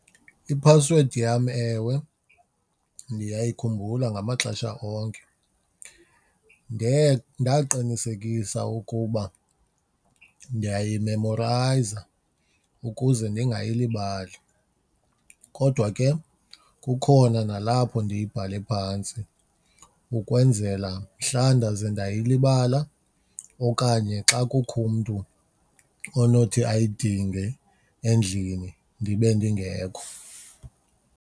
Iphasiwedi yam, ewe, ndiyayikhumbula ngamaxesha onke. Ndaqinisekisa ukuba ndiyayimemorayiza ukuze ndingayilibali kodwa ke kukhona nalapho ndiyibhale phantsi ukwenzela mhla ndaze ndayilibala okanye xa kukho umntu onothi ayidinge endlini ndibe ndingekho.